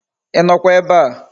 Inokwa ebea?